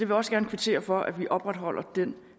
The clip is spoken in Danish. vil også gerne kvittere for at vi opretholder den